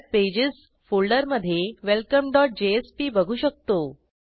web pages फोल्डरमधे welcomeजेएसपी बघू शकतो